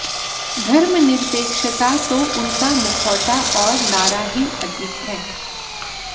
धर्मनिर्पेक्षता तो उनका मुखौटा और नारा ही अधिक है